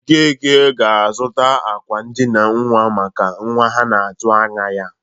Okeke ga-azụta akwa ndịna nnwa maka nwa ha na-atụ anya ya.